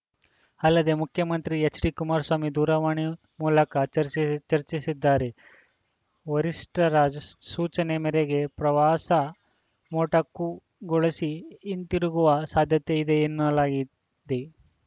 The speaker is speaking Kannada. ಅಲ್ಲದೇ ಮುಖ್ಯಮಂತ್ರಿ ಎಚ್‌ಡಿಕುಮಾರಸ್ವಾಮಿ ದೂರವಾಣಿ ಮೂಲಕ ಚರ್ಚಿ ಚರ್ಚಿಸಿದ್ದಾರೆ ವರಿಷ್ಠರ ರಸ್ ಸೂಚನೆ ಮೇರೆಗೆ ಪ್ರವಾಸ ಮೊಟಕು ಗೊಳಿಸಿ ಹಿಂತಿರುಗುವ ಸಾಧ್ಯತೆ ಇದೆ ಎನ್ನಲಾಗಿ ದೆ